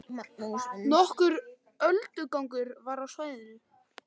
Nokkur öldugangur var á svæðinu